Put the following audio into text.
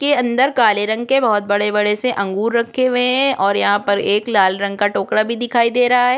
के अंदर काले रंग के बहुत बड़े-बड़े से अंगूर रखे हुए है और यहाँ पर एक लाल रंग का टोकरा भी दिखाई दे रहा हैं।